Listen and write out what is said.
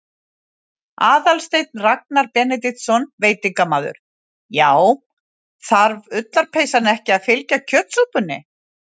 Aðalsteinn Ragnar Benediktsson, veitingamaður: Já, þarf ullarpeysan ekki að fylgja kjötsúpunni?